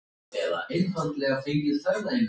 En samt var hún ekki ánægð.